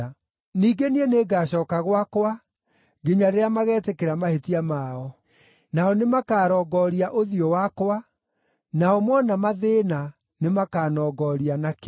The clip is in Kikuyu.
Ningĩ niĩ nĩngacooka gwakwa, nginya rĩrĩa magetĩkĩra mahĩtia mao. Nao nĩmakarongooria ũthiũ wakwa; nao mona mathĩĩna nĩmakanongoria na kĩo.”